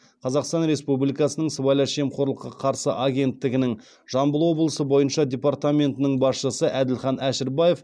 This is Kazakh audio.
қазақстан республикасының сыбайлас жемқорлыққа қарсы агенттігінің жамбыл облысы бойынша департаментінің басшысы әділхан әшірбаев